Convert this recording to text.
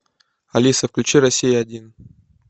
алиса включи россия один